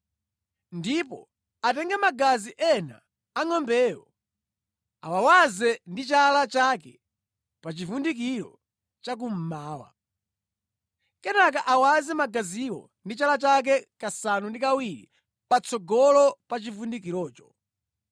Ndipo atenge magazi ena a ngʼombeyo, awawaze ndi chala chake pa chivundikiro cha kummawa; kenaka awaze magaziwo ndi chala chake kasanu ndi kawiri patsogolo pa chivundikirocho.